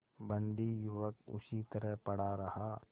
बंदी युवक उसी तरह पड़ा रहा